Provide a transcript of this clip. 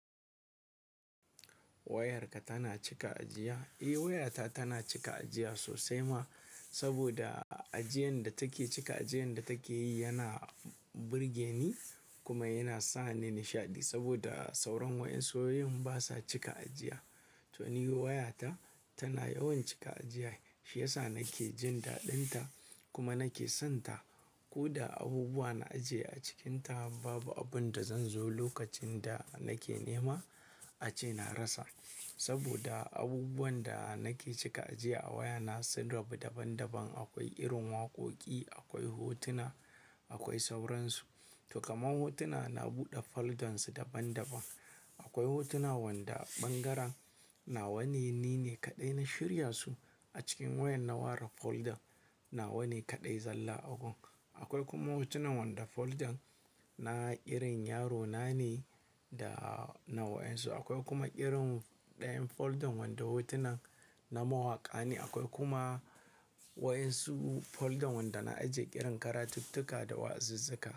Wayarka tana cika ajiya? Eh wayata tana cika ajiya sosai ma. Saboda ajiyan da take cika, ajiyan da take yi yana burge ni kuma yana sa ni nishaɗi. Saboda sauran wayansu wayoyin basa cika ajiya. To ni wayata tana yawan cika ajiya shiyasa nake jin daɗinta kuma nake son ta. Ko da abubuwa na ajiye a cikinta babu abun da zan zo lokacin da nake nema ace na rasa. Saboda abubuwan da nake cika ajiye a wayana sun rabu daban daban. Akwai irin waƙoƙi, akwai hotuna, akwai sauransu. To kamar hotuna na buɗe foldan su daban daban. Akwai hotuna wanda bangaran nawa ne nine kaɗai na shirya su a cikin wayan na ware folder na wane kaɗai zalla agun. Akwai kuma hotunan wanda folder na irin yaro na ne da na wayansu. Akwai kuma irin ɗayan folder wanda hotunan na mawaƙa ne. Akwai kuma wayansu folder wanda na ajiye irin karatuttuka da wa'azizzuka.